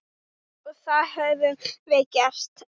Og það höfum við gert.